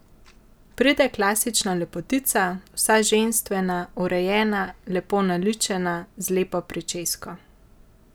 Pride klasična lepotica, vsa ženstvena, urejena, lepo naličena, z lepo pričesko.